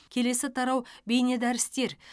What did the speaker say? келесі тарау бейнедәрістер